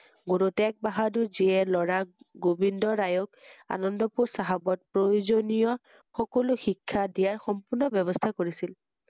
গুৰু টেগ বাহাদুৰ যিয়ে ল‘ৰাক গোবিন্দ ৰায়ক আনন্দপুৰ চাহাবক প্ৰয়োজনীয় সকলো শিক্ষা দিয়াৰ সম্পূৰ্ণ ব্যৱস্হা কৰিছিল ৷